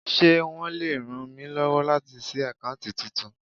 Ṣé wọn le ràn mí lọ́wọ́ láti ṣí àkáùntì titun?